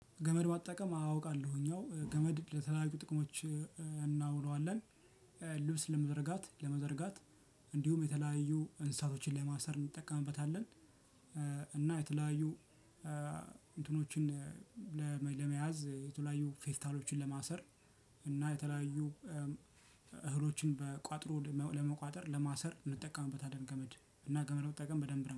ገመድ መጠቀም አውቃለሁኝ እኛው ገመድ ለተለያዩ ጥቅሞች እናውለዋለን። ልብስ ለመዘርጋት ለመዘርጋት እንዲሁም የተለያዩ እንስሳቶችን ለማሰር እንጠቀምበታለን። እና የተለያዩ እንትኖችን ለመል ለመያዝ የተለያዩ ፌስታሎችን ለማሰር እና የተለያዩ እህሎችን በቋጥሮ ለመቋጠር ለማሰር እንጠቀምበታለን። ገመድ እና ገመድ መጠቀም በደንብ ነው